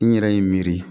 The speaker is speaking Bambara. N yɛrɛ ye n miiri